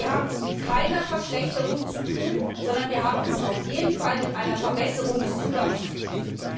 Wir haben es mit keiner Verschlechterung zu tun, sondern wir haben es auf jeden Fall mit einer Verbesserung des Zugangs zu tun.